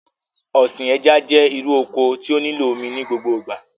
Ọ̀sìn ẹja jẹ́ irú oko tí ó nílò omi ní gbogbo ìgbà